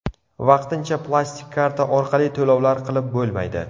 Vaqtincha plastik karta orqali to‘lovlar qilib bo‘lmaydi.